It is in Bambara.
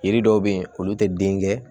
Yiri dɔw be yen olu te den kɛ